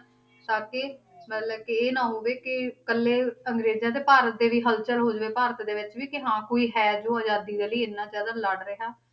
ਤਾਂ ਕਿ ਮਤਲਬ ਕਿ ਇਹ ਨਾ ਹੋਵੇ ਕਿ ਇਕੱਲੇ ਅੰਗਰੇਜਾਂ ਤੇ ਭਾਰਤ ਦੇ ਵੀ ਹਲਚਲ ਹੋ ਜਾਵੇ ਭਾਰਤ ਦੇ ਵਿੱਚ ਵੀ ਕਿ ਹਾਂ ਕੋਈ ਹੈ ਜੋ ਆਜ਼ਾਦੀ ਦੇ ਲਈ ਇੰਨਾ ਜ਼ਿਆਦਾ ਲੜ ਰਿਹਾ